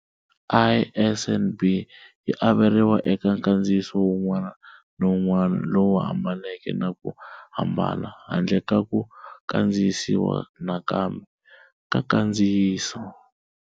ISBN yi averiwa eka nkandziyiso wun'wana na wun'wana lowu hambaneke na ku hambana, handle ka ku kandziyisiwa nakambe, ka nkandziyiso.